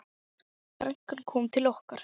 Frænkan kom til okkar.